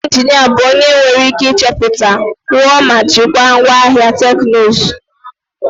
Onye injinia bụ onye nwere ike chepụta, wuo ma jikwaa ngwaahịa teknụzụ.